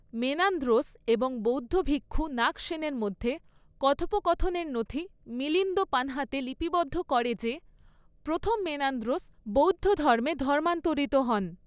Menandros এবং বৌদ্ধ ভিক্ষু নাগসেনের মধ্যে কথোপকথনের নথি মিলিন্দ পঞ্হতে লিপিবদ্ধ করে যে, প্রথম মেনান্দ্রোস বৌদ্ধ ধর্মে ধর্মান্তরিত হন।